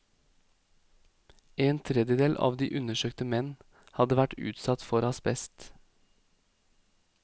En tredjedel av de undersøkte menn hadde vært utsatt for asbest.